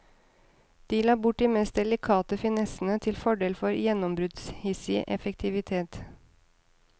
De la bort de mest delikate finessene til fordel for gjennombruddshissig effektivitet.